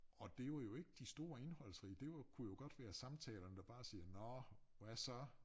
Og det var jo ikke de store indholdsrige det var jo kunne jo godt være samtalerne der bare siger nåh hvad så